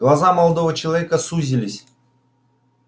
глаза молодого человека сузились